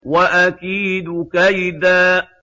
وَأَكِيدُ كَيْدًا